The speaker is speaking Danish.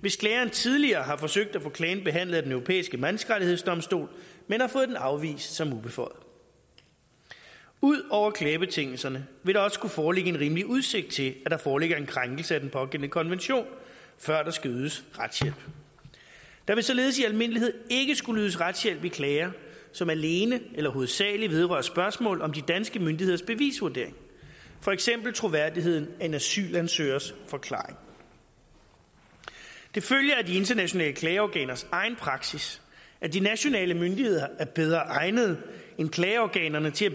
hvis klageren tidligere har forsøgt at få klagen behandlet af den europæiske menneskerettighedsdomstol men har fået den afvist som ubeføjet ud over klagebetingelserne vil der også skulle foreligge en rimelig udsigt til at der foreligger en krænkelse af den pågældende konvention før der skal ydes retshjælp der vil således i almindelighed ikke skulle ydes retshjælp i klager som alene eller hovedsagelig vedrører spørgsmål om de danske myndigheders bevisvurdering for eksempel troværdigheden af en asylansøgers forklaring det følger af de internationale klageorganers egen praksis at de nationale myndigheder er bedre egnet end klageorganerne til